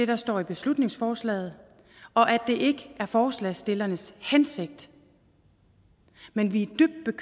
der står i beslutningsforslaget og at det ikke er forslagsstillernes hensigt men vi